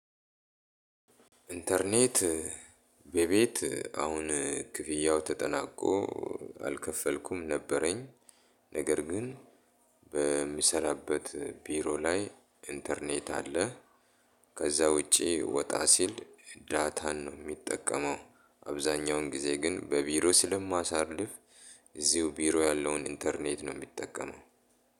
ኢንተርኔት በቤት አሁን ክፍያው ተጠናቆ አልከፈልኩም ነበረኝ ነገር ግን በምሰራበት ቢሮ ላይ ኢንተርኔት አለ። ከዛ ውጪ ወጣ ሲል ዳታን ነው ሚጠቀመው አብዛኛውን ጊዜ ግን በቢሮ ስለማሳልፍ እዚው ቢሮ ያለውን ኢንተርኔት ነው ምጠቀመው።